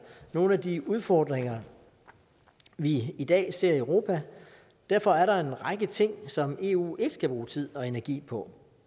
nogle af de udfordringer vi i dag ser i europa derfor er der en række ting som eu ikke skal bruge tid og energi på